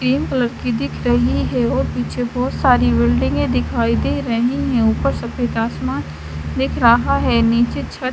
तीन कलर की दिख रही है और पीछे बोहोत सारी बिल्डिंगे दिखाई दे रही है ऊपर सफ़ेद आसमान दिख रहा है निचे छत --